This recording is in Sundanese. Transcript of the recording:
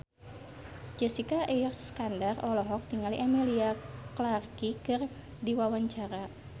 Jessica Iskandar olohok ningali Emilia Clarke keur diwawancara